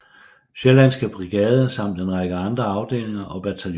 Sjællandske Brigade samt en række andre afdelinger og bataljoner